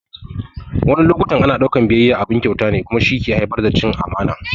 Wani loƙutan ana daukan ɓiyayya abun kyauta ne kuma shi ke haifar da cin amana.